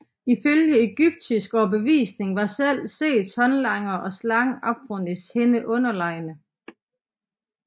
Ifølge egyptisk overbevisning var selv Seths håndlangere og slangen Apophis hende underlegne